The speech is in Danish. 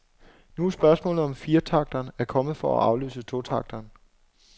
Nu er spørgsmålet, om firetakteren er kommet for at afløse totakteren.